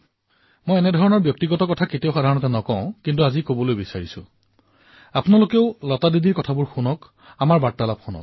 মই এনেধৰণৰ ব্যক্তিগত কথোপকথনৰ বিষয়ে কেতিয়াও নকও কিন্তু আজি মই বিচাৰিছো যে আপোনালোকেও যাতে সেই কথোপকথন শুনক